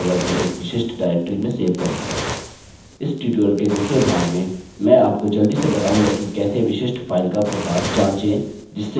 इस ट्यूटोरियल के दूसरे भाग में मैं आपको जल्दी से बताऊँगा कि कैसे विशिष्ट फाइल का प्रकार जाँचे जिससे कि आप इसे फाइल टाइप्स से सुरक्षित कर सकें